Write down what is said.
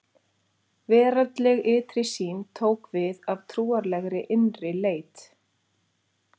Veraldleg ytri sýn tók við af trúarlegri innri leit.